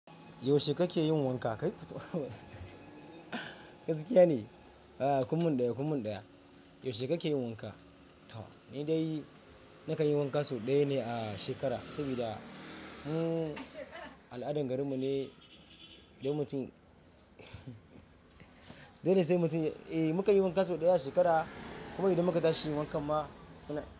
Yaushe kake yin wanka? Kai gaskiya ne? A'a kum mun ɗaya kum mun ɗaya. Yaushe kake yin wanka? To ni dai nakan yi wanka sau ɗaya ne a shekara sabida da. Al'adan garin mu ne idan mutum dole sai mutum eh mukan yi wanka sau ɗaya a shekara kuma idan muka tashi yin wankan ma.